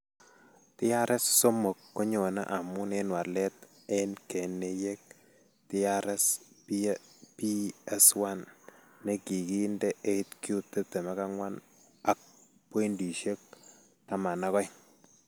TRS3 konyoone amun en walet en keneyeek TRPS1 ne kikiinde 8q24.12.